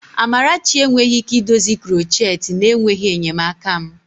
Amarachi enweghị ike idozi krocheti na-enweghị enyemaka m.